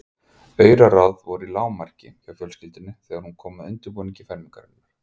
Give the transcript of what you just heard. Auraráð voru í lágmarki hjá fjölskyldunni þegar kom að undirbúningi fermingarinnar.